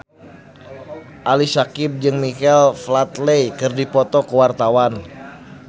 Ali Syakieb jeung Michael Flatley keur dipoto ku wartawan